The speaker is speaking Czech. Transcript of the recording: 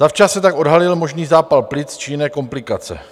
Zavčas se tak odhalil možný zápal plic či jiné komplikace.